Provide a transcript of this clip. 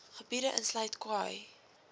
gebiede insluit khai